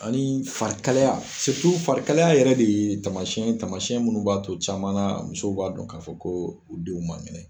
Ani farikalaya farikalaya yɛrɛ de ye taamasiyɛn ye taamasiyɛn minnu b'a to caman na musow b'a dɔn k'a fɔ ko u denw man kɛnɛ